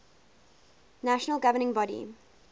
national governing body